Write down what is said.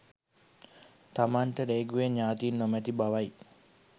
තමන්ට රේගුවේ ඥාතීන් නොමැති බවයි